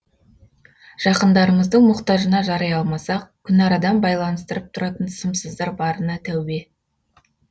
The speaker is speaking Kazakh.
жақындарымыздың мұқтажына жарай алмасақ күнарадан байланыстырып тұратын сымсыздар барына тәубе